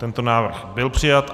Tento návrh byl přijat.